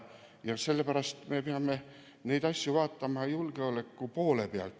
Sellepärast me peame neid asju vaatama julgeoleku poole pealt.